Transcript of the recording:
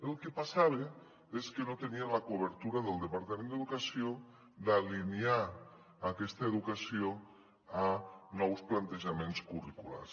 el que passava és que no tenien la cobertura del departament d’educació d’alinear aquesta educació amb nous plantejaments curriculars